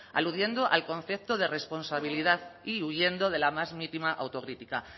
aludiendo al concepto de responsabilidad y huyendo de la más mínima autocrítica